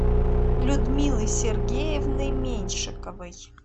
людмилы сергеевны меньшиковой